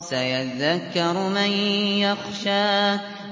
سَيَذَّكَّرُ مَن يَخْشَىٰ